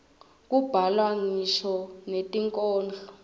kubhalwa ngisho netinkhondlo